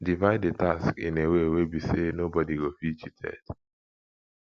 divide the task in a way wey be say no body go feel cheated